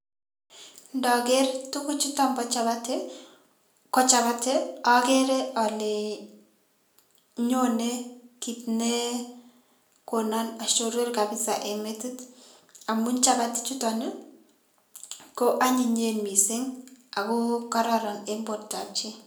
Indoker tukuchutok bo chapati, ko chabati okere ole nyonee kit nekonon oshoror kabisa en metit, amun chabati chutok ko onyinyen missing ako kororon en bortab chii.